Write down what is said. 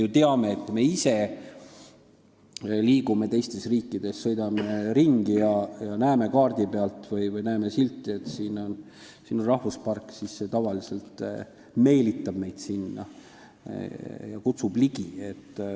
Kui me sõidame ringi teistes riikides ja näeme kaardi pealt või näeme silti, et siin on rahvuspark, siis see tavaliselt meelitab meid sinna, kutsub ligi.